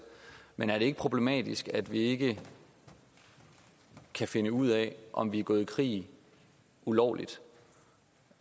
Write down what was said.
men er det ikke problematisk at vi ikke kan finde ud af om vi er gået i krig ulovligt